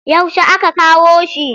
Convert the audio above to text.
Yaushe aka kawo shi?